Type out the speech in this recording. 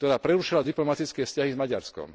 ktorá prerušila diplomatické vzťahy z Maďarskom.